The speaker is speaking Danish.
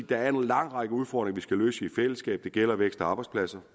der er en lang række udfordringer skal løse i fællesskab det gælder vækst og arbejdspladser